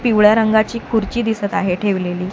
पिवळ्या रंगाची खुर्ची दिसत आहे ठेवलेली.